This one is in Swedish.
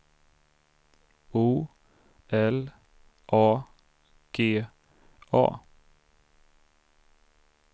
O L A G A